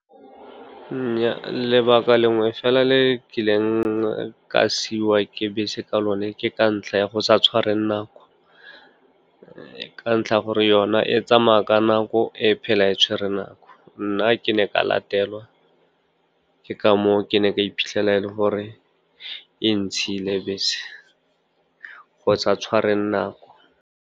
Nnyaa, lebaka lengwe fela le ke ileng ka siwa ke bese ka lo ne ke ka ntlha ya go sa tshware nako. Ka ntlha ya gore yona e tsamaya ka nako, e phela e tshwere nako. Nna ke ne ka latelwa, ke ka mo o ke ne ka iphitlhela e le gore e ntshile bese, go sa tshwareng nako.